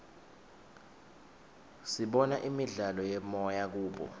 sibona imidlalo yemoya kubo